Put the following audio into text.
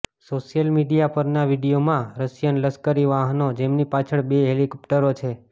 social media પરના વીડિયોમાં Russian લશ્કરી વાહનો જેમની પાછળ બે હેલિકોપ્ટરો છે